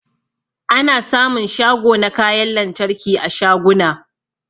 Ana sa mun shago na kayan lantarki a shaguna